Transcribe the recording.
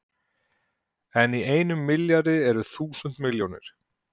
En í einum milljarði eru þúsund milljónir!